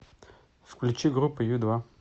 включи группу ю два